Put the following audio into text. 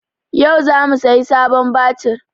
Yau za mu sayi sabon batir